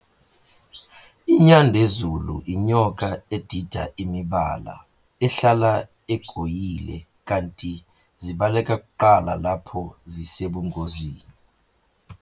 INyandezulu inyoka edida imibala, ehlala egoyile, kanti zibaleka kuqala lapho zisebungozini.